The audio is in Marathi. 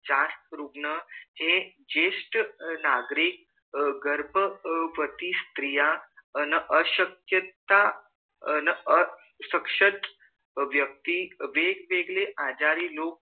जास्त रुग्ण हे जेष्ठ नागरिक अह गर्भ अह वती स्रीया आणि अश्यकतां अह आणि अश्यकत व्यक्ती वेगवेगळे आजारी लोग